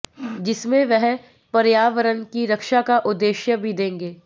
जिसमें वह पर्यावरण की रक्षा का उद्देश्य भी देंगे